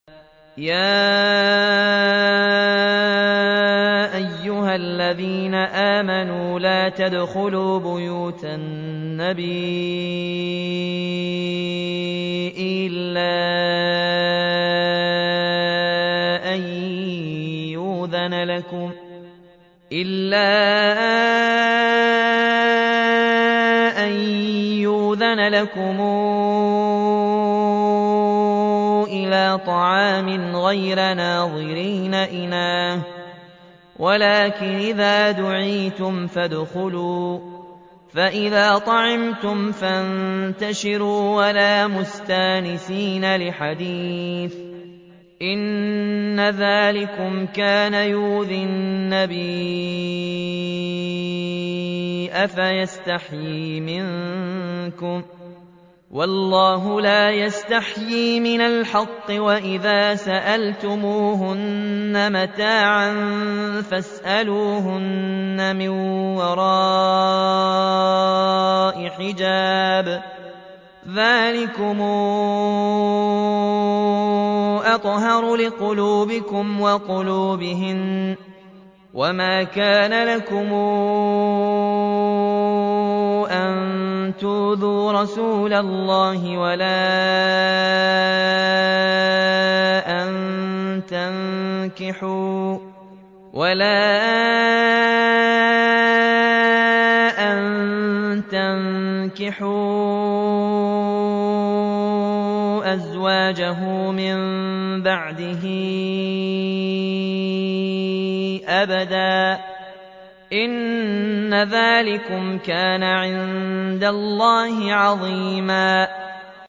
يَا أَيُّهَا الَّذِينَ آمَنُوا لَا تَدْخُلُوا بُيُوتَ النَّبِيِّ إِلَّا أَن يُؤْذَنَ لَكُمْ إِلَىٰ طَعَامٍ غَيْرَ نَاظِرِينَ إِنَاهُ وَلَٰكِنْ إِذَا دُعِيتُمْ فَادْخُلُوا فَإِذَا طَعِمْتُمْ فَانتَشِرُوا وَلَا مُسْتَأْنِسِينَ لِحَدِيثٍ ۚ إِنَّ ذَٰلِكُمْ كَانَ يُؤْذِي النَّبِيَّ فَيَسْتَحْيِي مِنكُمْ ۖ وَاللَّهُ لَا يَسْتَحْيِي مِنَ الْحَقِّ ۚ وَإِذَا سَأَلْتُمُوهُنَّ مَتَاعًا فَاسْأَلُوهُنَّ مِن وَرَاءِ حِجَابٍ ۚ ذَٰلِكُمْ أَطْهَرُ لِقُلُوبِكُمْ وَقُلُوبِهِنَّ ۚ وَمَا كَانَ لَكُمْ أَن تُؤْذُوا رَسُولَ اللَّهِ وَلَا أَن تَنكِحُوا أَزْوَاجَهُ مِن بَعْدِهِ أَبَدًا ۚ إِنَّ ذَٰلِكُمْ كَانَ عِندَ اللَّهِ عَظِيمًا